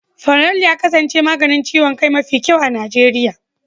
Fanadol ya kasance maganin ciwon kai mafi kyau a Najeriya.